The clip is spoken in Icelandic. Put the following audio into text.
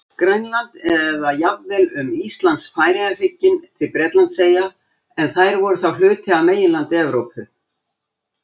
Grænland eða jafnvel um Íslands-Færeyja-hrygginn til Bretlandseyja en þær voru þá hluti af meginlandi Evrópu.